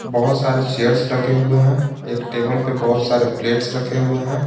बहुत सारे चेयर्स लगे हुए हैं एक टेबल पे बहुत सारे प्लेट्स रखे हुए हैं।